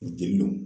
N denw